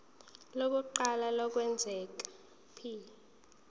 lokuqala lokwengeza p